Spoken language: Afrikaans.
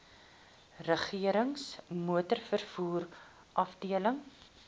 regerings motorvervoer afdeling